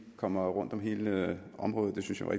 kom rundt om hele området